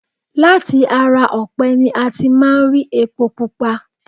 Láti ara ọ̀pẹ ni a ti máa ń rí epo pupa